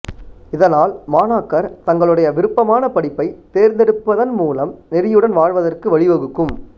இதனால் மாணாக்கர தங்களுடைய விருப்பமான படிப்பை த் தேர்ந்தெடுப்பது மூலம் நெறியுடன் வாழ்வதற்கு வழிவகுக்கும்